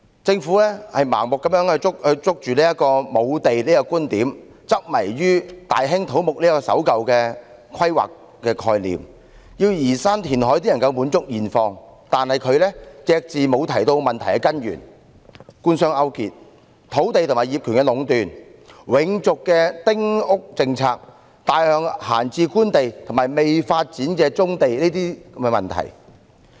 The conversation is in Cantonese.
政府盲目抓緊沒有土地的觀點，執迷於大興土木的守舊規劃概念，聲稱要移山填海才能滿足現況，卻隻字不提這問題的根源是官商勾結、土地和業權壟斷、永續的丁屋政策、大量閒置官地和未發展的棕地等問題。